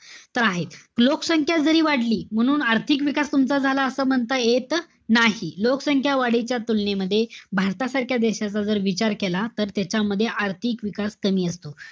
तर आहे. लोकसंख्या जरी वाढली. म्हणून आर्थिक विकास म्हणता येत नाही. लोकसंख्या वाढीच्या तुलनेमध्ये भारतासारख्या देशाचा जर विचार केला. तर त्याच्यामध्ये आर्थिक विकास कमीअसतो.